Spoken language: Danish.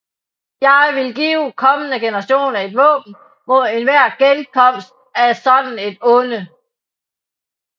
Jeg ville give kommende generationer et våben mod enhver genkomst af sådant et onde